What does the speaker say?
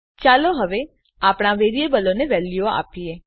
ચાલો હવે આપણા વેરીએબલોને વેલ્યુઓ આપીએ